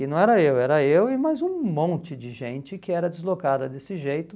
E não era eu, era eu e mais um monte de gente que era deslocada desse jeito.